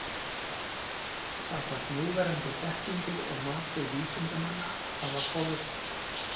Samkvæmt núverandi þekkingu og mati vísindamanna hafa komið fram tíu deilitegundir tígrisdýra.